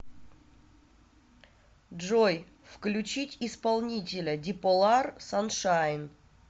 джой включить исполнителя биполар саншайн